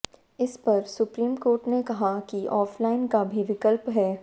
इस पर supreme court ने कहा कि ऑफलाइन का भी विकल्प है